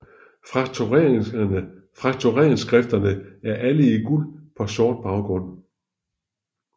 Frakturindskrifterne er alle i guld på sort baggrund